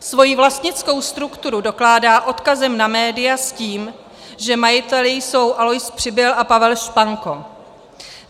Svoji vlastnickou strukturu dokládá odkazem na média s tím, že majiteli jsou Alois Přibyl a Pavel Španko.